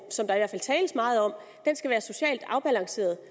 som der i hvert fald tales meget om skal være socialt afbalanceret